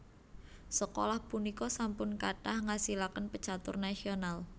Sekolah punika sampun kathah ngasilaken pecatur nasional